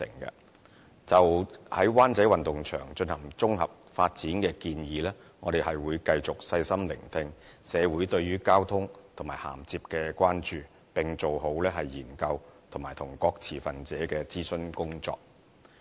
就着在灣仔運動場進行綜合發展的建議，我們會繼續細心聆聽社會對於交通和銜接的關注，並做好研究及與各持份者的諮詢工作。